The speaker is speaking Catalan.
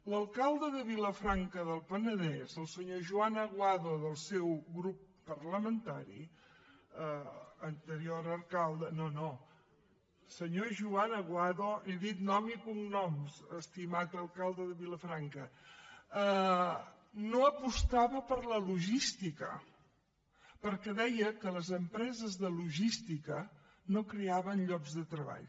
l’alcalde de vilafranca del penedès el senyor joan aguado del seu grup parlamentari anterior alcalde no no senyor joan aguado he dit nom i cognoms estimat alcalde de vilafranca no apostava per la logística perquè deia que les empreses de logística no creaven llocs de treball